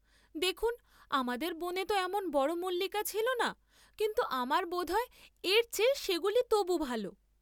দেখুন্ আমাদের বনে তো এমন বড় মল্লিকা ছিল না, কিন্তু আমার বোধ হয় এর চেয়ে সেগুলি তবু ভাল।